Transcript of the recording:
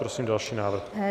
Prosím další návrh.